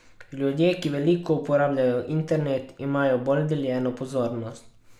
Ljudje, ki veliko uporabljajo internet, imajo bolj deljeno pozornost.